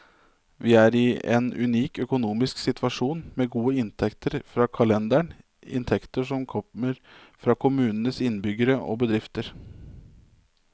Vi er i en unik økonomisk situasjon, med gode inntekter fra kalenderen, inntekter som kommer fra kommunens innbyggere og bedrifter.